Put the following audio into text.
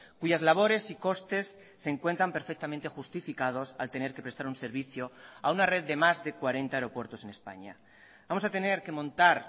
cuyas labores y costes se encuentran perfectamente justificados al tener que prestar un servicio a una red de más de cuarenta aeropuertos en españa vamos a tener que montar